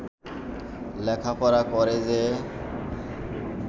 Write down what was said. লেখাপড়া করে যে